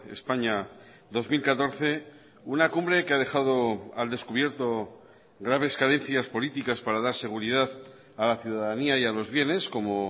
españa dos mil catorce una cumbre que ha dejado al descubierto graves carencias políticas para dar seguridad a la ciudadanía y a los bienes como